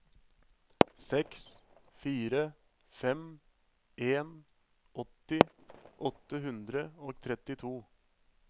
seks fire fem en åtti åtte hundre og trettito